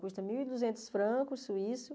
Custa mil e duzentos francos suíços